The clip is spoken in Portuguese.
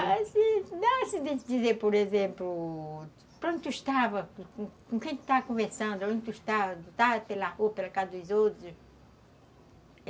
Ah, assim, dá assim de dizer, por exemplo, para onde tu estava, com quem tu estava conversando, aonde tu estava, tu estava, sei lá, ou pela casa dos outros.